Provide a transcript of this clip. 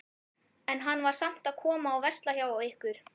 En hann var samt að koma og versla hjá ykkur?